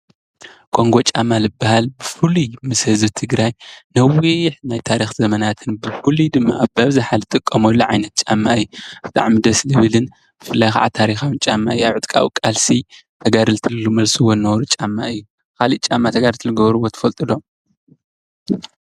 ኮንጎ ጫማ ዝብሃል ብፍሉይ ምስ ህዝቢ ትግራይ ነዊሕ ናይ ታሪኽ ዘመናት ብፍሉይ ድማ ብኣብዝሓ እንጥቀመሉ ዓይነት ጫማ እዩ፤ ብጣዕሚ ደስ ዝብልን ብፍላይ ከዓ ታሪኻዊ ጫማ ኣብ ዕጥቃዊ ቃልሲ ተጋደልቲ ዝመልስዎ ዝነበሩ ጫማ እዩ። ካሊእ ጫማ ተጋደልቲ ዝገብርዎ ትፈልጡ ዶ?